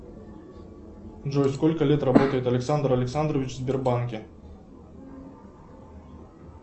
джой сколько лет работает александр александрович в сбербанке